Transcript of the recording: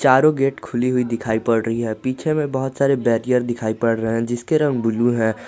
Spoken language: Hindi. चारों गेट खुली हुई दिखाई पड़ रही है पीछे में बहुत सारे बैरियर दिखाई पड़ रहे हैं जिसके रंग ब्लू है।